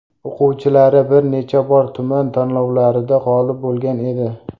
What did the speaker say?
O‘quvchilari bir necha bor tuman tanlovlarida g‘olib bo‘lgan edi.